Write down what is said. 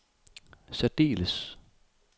særdeles